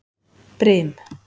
Brim